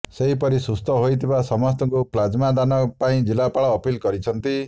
ସେହିପରି ସୁସ୍ଥ ହୋଇଥିବା ସମସ୍ତଙ୍କୁ ପ୍ଲାଜମା ଦାନ ପାଇଁ ଜିଲ୍ଲାପାଳ ଅପିଲ କରିଛନ୍ତି